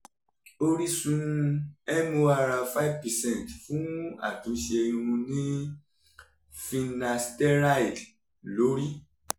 orísunmorr five percent fún àtúnṣe irun ni finasteride lórí